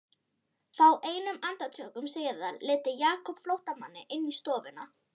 Fáeinum andartökum síðar leiddi Jakob flóttamanninn inn í stofuna.